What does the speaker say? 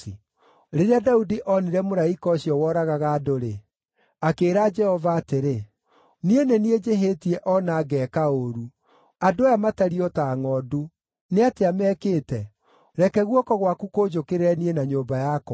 Rĩrĩa Daudi onire mũraika ũcio woragaga andũ-rĩ, akĩĩra Jehova atĩrĩ, “Niĩ nĩ niĩ njĩhĩtie o na ngeeka ũũru. Andũ aya matariĩ o ta ngʼondu. Nĩatĩa mekĩte? Reke guoko gwaku kũnjũkĩrĩre niĩ na nyũmba yakwa.”